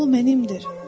O mənimdir.